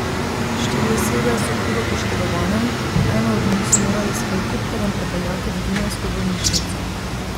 Štiri osebe so hudo poškodovane, eno od njih so morali s helikopterjem prepeljati v dunajsko bolnišnico.